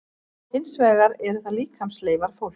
Hins vegar eru það líkamsleifar fólks.